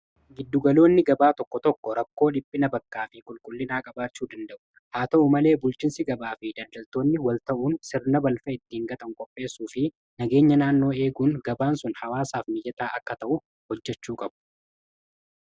Giddugaloonni gabaa tokko tokko rakkoo dhiphina bakkaa fi qulqullinaa qabaachuu danda'u haa ta'u malee bulchinsi gabaa fi daldaltoonni wal ta'uun sirna balfa ittiin gatan qopheessuu fi nageenya naannoo eeguun gabaan sun hawaasaaf mijataa akka ta'u hojjechuu qabu.